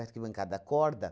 bancada, a corda.